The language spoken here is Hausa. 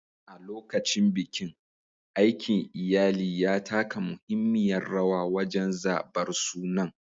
A lokacin bikin, aikin iyali ya taka muhimmiyar rawa wajen zabar sunan.